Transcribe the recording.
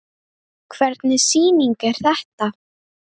Hvernig sýning er þetta?